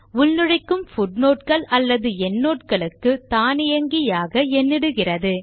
உள்நுழைக்கும் footnote கள் அல்லது endnote களுக்கு தானியங்கியாக எண்ணிடுகிறது